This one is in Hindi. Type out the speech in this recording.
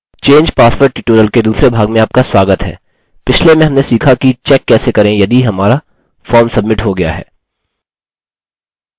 change password ट्यूटोरियल के दूसरे भाग में आपका स्वागत है पिछले में हमने सीखा कि चेक कैसे करें यदि हमारा फार्म सब्मिट हो गया है